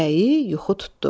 Bəyi yuxu tutdu.